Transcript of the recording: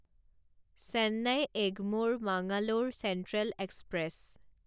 Chennai Egmore Mangalore central express